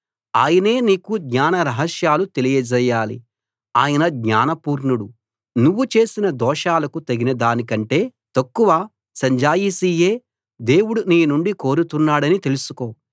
ఆయనే నీకు జ్ఞాన రహస్యాలు తెలియజేయాలి ఆయన జ్ఞాన పూర్ణుడు నువ్వు చేసిన దోషాలకు తగినదాని కంటే తక్కువ సంజాయిషీయే దేవుడు నీ నుండి కోరుతున్నాడని తెలుసుకో